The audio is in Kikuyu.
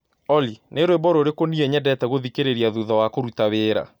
Olly nĩ rwĩmbo rũrĩkũ nĩĩ nyendete gũthĩkĩrĩa thũtha wa kũrũta wĩra